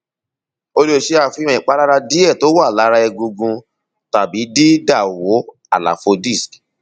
ó lè ṣe àfihàn ìpalára díẹ tó wà lára egungun tàbídídàwó àlàfo disc